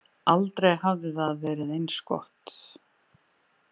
Aldrei hafði það verið eins gott.